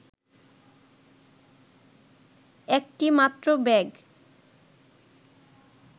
একটি মাত্র ব্যাগ